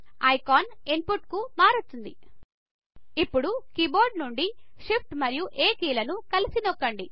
icon input కు మారుతుంది ఇప్పుడు కీబోర్డ్ నుండి షిఫ్ట్ మరియు A కీలను కలిసి నొక్కండి